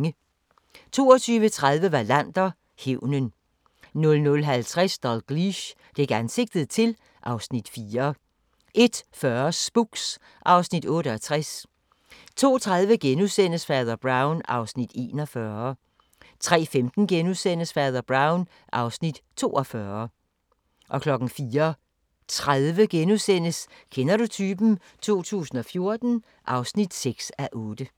22:30: Wallander: Hævnen 00:50: Dalgliesh: Dæk ansigtet til (Afs. 4) 01:40: Spooks (Afs. 68) 02:30: Fader Brown (Afs. 41)* 03:15: Fader Brown (Afs. 42)* 04:30: Kender du typen 2014 (6:8)*